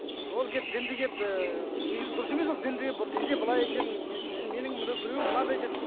ол келіп дінді келіп негізі дұрыс емес ол дінде дінде былай екен менің біз менің біреу мынандай деді